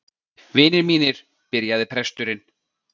Vinir mínir, byrjaði presturinn.